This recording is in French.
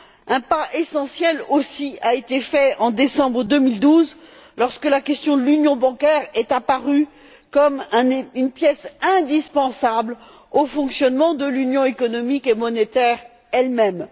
Un pas essentiel a aussi été accompli en décembre 2012, lorsque la question de l'union bancaire est apparue comme une pièce indispensable au fonctionnement de l'Union économique et monétaire elle même.